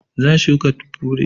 Zan shuka fure.